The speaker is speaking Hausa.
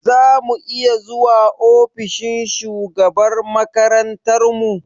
Za mu iya zuwa ofishin shugabar makarantar mu?